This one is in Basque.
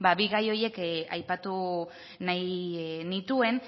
ba bi gai horiek aipatu nahi nituen